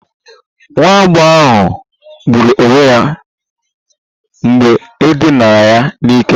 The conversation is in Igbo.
Nwa agbọghọ ahụ gburu onwe ya mgbe e dinara ya n'ike